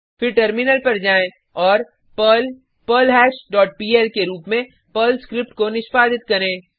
फिर टर्मिलन पर जाएँ और पर्ल पर्लहैश डॉट पीएल के रुप में पर्ल स्क्रिप्ट को निष्पादित करें